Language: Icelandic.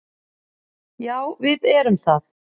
Já, við erum það.